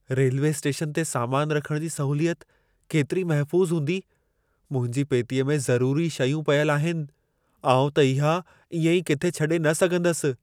Railway station ते सामान रखण जी सहूलियत केतिरी महफ़ूज़ु हूंदी? मुंहिंजी पेतीअ में ज़रूरी शयूं पियल आहिनि, आउं त इहा, इएं ई किथे छॾे न सघंदसि।